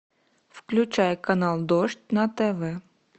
включай канал дождь на тв